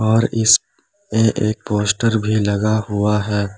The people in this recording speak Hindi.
और इस एक पोस्टर भी लगा हुआ है।